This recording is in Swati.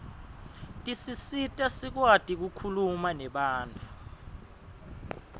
tisisita sikuati kukhuluma nebantfu